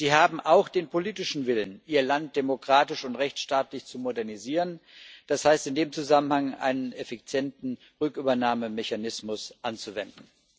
Sie haben auch den politischen Willen, ihr Land demokratisch und rechtsstaatlich zu modernisieren, das heißt in dem Zusammenhang, einen effizienten Rückübernahmemechanismus anzuwenden.